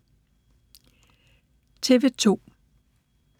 TV 2